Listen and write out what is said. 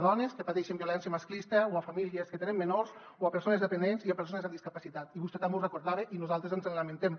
dones que pateixen violència masclista o famílies que tenen menors o persones dependents i persones amb discapacitat i vostè també ho recordava i nosaltres ens en lamentem